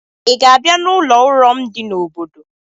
Ị ga-abịa n'ụlọ ụrọ m dị n'obodo?